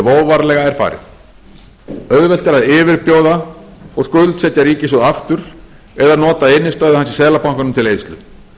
óvarlega er farið auðvelt er að yfirbjóða og skuldsetja ríkissjóð aftur eða nota innstæðu hans í seðlabankanum til eyðslu